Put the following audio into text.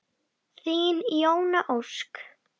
Þín Jóna Ósk.